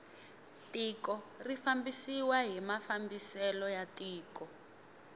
tiko ri fambisiwa hi mafambiselo ya tiko